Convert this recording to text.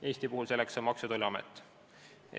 Eestis on selleks asutuseks Maksu- ja Tolliamet.